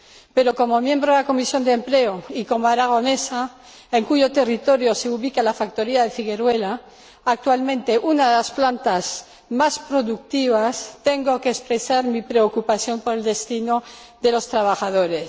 Pero, como miembro de la Comisión de Empleo y como aragonesa, en cuyo territorio se ubica la factoría de Figueruelas, actualmente una de las plantas más productivas, tengo que expresar mi preocupación por el destino de los trabajadores.